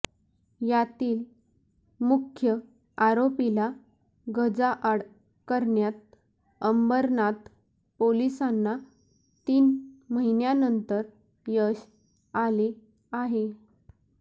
यातील मुख्य आरोपीला गजाआड करण्यात अंबरनाथ पोलिसांना तीन महिन्यांनंतर यश आले आहे